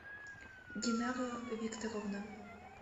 динара викторовна